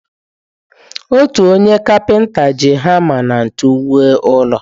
Otu onye kapinta ji hama na ntu wuo ụlọ.